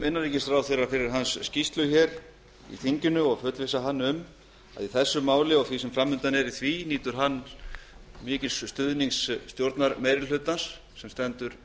innanríkisráðherra fyrir hans skýrslu hér í þinginu ég fullvissa hann um að í þessu máli og því sem fram undan er í því nýtur hann mikils stuðnings stjórnarmeirihlutans sem stendur